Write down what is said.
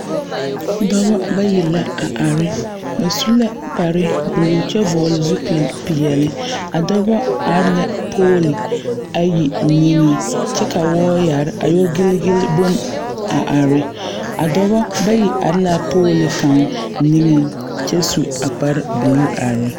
Dɔbɔ bayi la a are ba su la kparre buluu kyɛ vɔgle zupili peɛle a dɔba are la poole ayi niŋe kyɛ ka wooyare a yɔ giligili bone a are a dɔbɔ bayi are la poole kaŋ niŋeŋ kyɛ su a kparre buluu are.